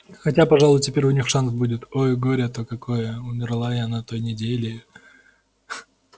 хотя пожалуй теперь у них шанс будет ой горе-то какое умерла я на той неделе